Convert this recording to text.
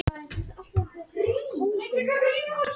Í Landnámabók segir að öndvegissúlur Ingólfs hafi fundist.